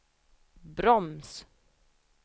broms